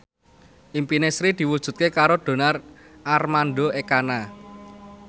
impine Sri diwujudke karo Donar Armando Ekana